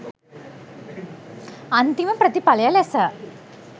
අන්තිම ප්‍රථිපලය ලෙස